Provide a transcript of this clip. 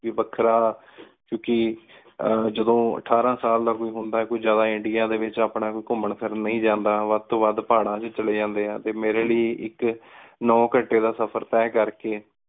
ਵਖਰਾ ਕਯੋਂ ਕ ਜਦੋਂ ਅਥਾਰ ਸਾਲ ਦਾ ਕੋਈ ਹੁੰਦਾ ਆਯ ਕੋਈ ਜਾਦਾ ਇੰਡੀਆ ਡੀ ਵਿਚ ਆਪਣਾ ਕੋਈ ਘੁਮੰ ਫਿਰਨ ਨੀ ਜਾਂਦਾ ਵਧ ਤੋ ਵਧ ਪਹਾਰਾਂ ਏਚ ਚਲੀ ਜਾਂਦੀ ਆ ਟੀ ਮੇਰੀ ਲੈ ਇਕ ਨੌ ਘੰਟਾ ਦਾ ਸਫ਼ਰ ਤੇਹ ਕਰ ਕ